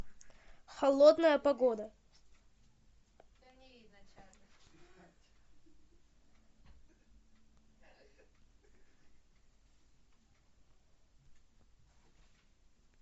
холодная погода